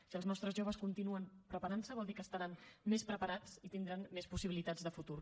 si els nostres joves continuen preparant se vol dir que estaran més preparats i tindran més possibilitats de futur